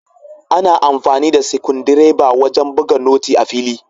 Ana amfani da sikundireba wajan buga noti a fili